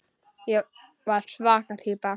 Ég var svaka týpa.